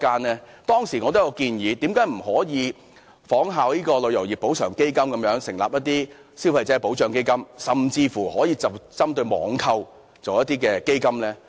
我當時建議，為何政府不可以仿效"旅遊業賠償基金"，成立"消費者保障基金"，甚至可以針對網購而成立一些基金呢？